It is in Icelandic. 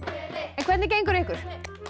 en hvernig gengur ykkur